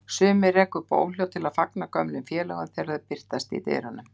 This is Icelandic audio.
Sumir reka upp óhljóð til að fagna gömlum félögum þegar þeir birtast í dyrunum.